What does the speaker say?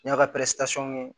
N y'a ka